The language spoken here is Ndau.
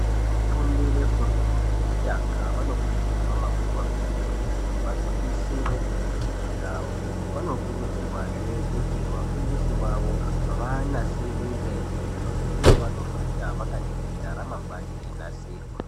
Vafundi vefundo yekutanga vanokurudzirwa kakurutu kuti vagwinyisire ngezvifundo zvawo. Vanokurudzirwazve kuti vafundisi vavo vavanasirire zviro zvekuti vanofunda vakaningira, remangwani reinasirwa.